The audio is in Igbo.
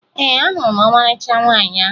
Ee, ahụrụ m ọmarịcha nwaanyị ahụ